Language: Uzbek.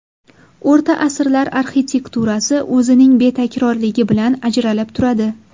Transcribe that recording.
O‘rta asrlar arxitekturasi o‘zining betakrorligi bilan ajralib turadi.